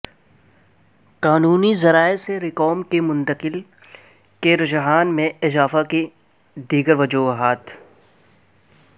قانونی ذرائع سے رقوم کی منتقل کے رجحان میں اضافے کی دیگر وجوہات